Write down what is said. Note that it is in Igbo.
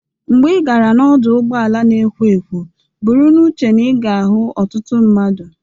Mgbe ị gara n'ọdụ ụgbọala na-ekwo ekwo, buru n'uche na ị ga-ahụ ọtụtụ mmadụ.